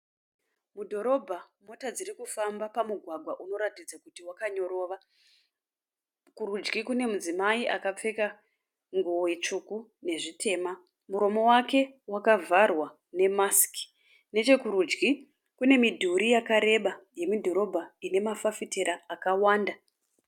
Mudhorobha. Mota dziri dzirikufamba pamugwagwa unoratidza kuti wakanyorova. Kurudyi kune mudzimai akapfeka nguwo tsvuku nezvitema. Muromo wake wakavharwa nemasiki. Nechekurudyi kune midhuri yakareba yemudhorobha ine mafafitera akawanda.